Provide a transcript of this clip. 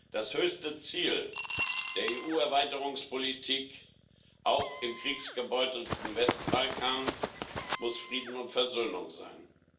Das höchste Ziel der EU Erweiterungspolitik, auch im kriegsgebeutelten Westbalkan, muss Frieden und Versöhnung sein.